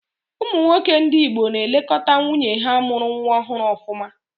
Ụmụ nwoke ndị Igbo na-elekọta nwunye ha mụrụ nwa ọhụrụ ọfụma.